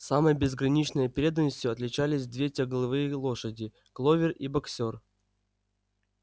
самой безграничной преданностью отличались две тягловые лошади кловер и боксёр